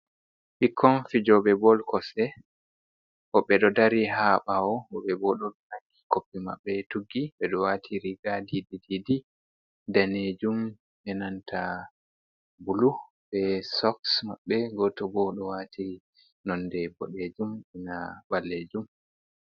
Ɓikkon fijoɓe bol kosɗe, woɓɓe ɗo dari ha bawo, woɓɓe ɗo nangi koppi maɓɓe tuggi ɓeɗo wati riga didi danejum be nanta bulu be soks maɓɓe, goto bo ɗo wati nonde boɗejum ina ɓalejum.